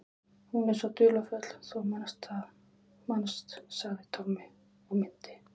Hún er svo dularfull, þú manst sagði Tommi og minnti